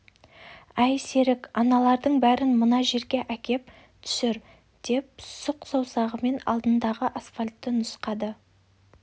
әй серік аналардың бәрін мына жерге әкеп түсір деп сұқ саусағымен алдындағы асфальтті нұсқады